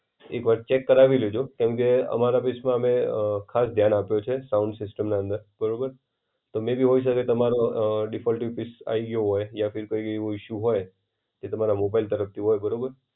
એક વાર ચેક કરાવી લેજો કેમકે અમારા પીસમાં અમે અ ખાસ ધ્યાન આપ્યો છે સાઉન્ડ સિસ્ટમના અંદર બરોબર. તો મેયબી હોય શકે તમારો અ ડિફોલ્ટિવ પીસ આવી ગ્યો હોય યા ફિર કોઈ એવો ઇશુ હોય કે. તમારા મોબાઈલ તરફથી હોય બરાબર